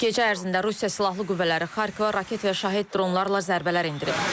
Gecə ərzində Rusiya Silahlı Qüvvələri Xarkova raket və şahid dronlarla zərbələr endirib.